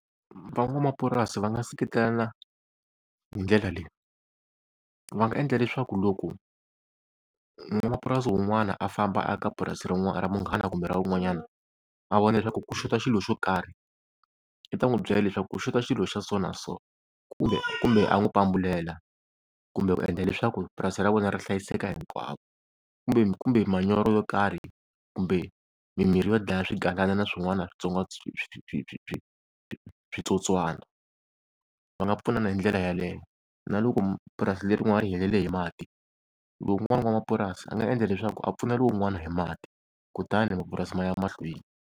Van'wamapurasi va nga seketelana hindlela leyi, va nga endla leswaku loko n'wamapurasi wun'wana a famba a ya ka purasi ra munghana kumbe ra wun'wanyana a vona leswaku ku xotha xilo xo karhi i ta n'wi byela leswaku ku xotha xilo xa so na so, kumbe, kumbe a n'wi pambulela kumbe ku endla leswaku purasi ra vona ri hlayiseka hinkwavo. Kumbe kumbe manyoro yo karhi kumbe mimirhi yo dlaya swigalana na swin'wana switsotswana va nga pfuna hindlela yaleyo. Na loko purasi lerin'wani ri helele hi mati lowuwani n'wamapurasi a nga endla leswaku a pfune lowun'wana hi mati kutani mapurasi ma ya mahlweni.